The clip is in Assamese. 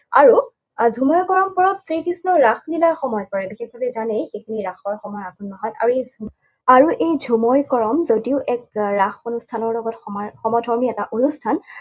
আৰু ঝুমে কৰম পৰৱ শ্ৰীকৃষ্ণৰ ৰাসলীলাৰ সময় পৰে। বিশেষভাৱে জানেই এইখিনি ৰাসৰ সময় আঘোণ মাহত। আৰু এই ঝুমে, আৰু এই ঝুমে কৰম যদিও এক ৰাস অনুষ্ঠানৰ লগত সমধৰ্মী এটা অনুষ্ঠান,